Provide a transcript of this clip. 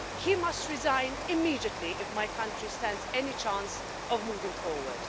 He must resign immediately if my country stands any chance of moving forward.